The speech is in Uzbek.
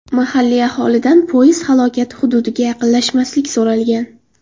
Mahalliy aholidan poyezd halokati hududiga yaqinlashmaslik so‘ralgan.